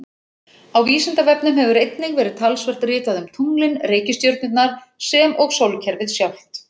Á Vísindavefnum hefur einnig verið talsvert ritað um tunglin, reikistjörnurnar sem og sólkerfið sjálft.